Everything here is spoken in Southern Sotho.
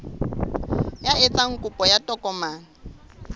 ya etsang kopo ya tokomane